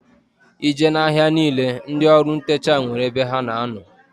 I jee na-ahia niile ndị ọrụ ntecha nwere ebe ha na-ano.